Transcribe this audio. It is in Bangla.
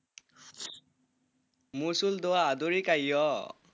মসুল দুয়া দয়ি কাইও,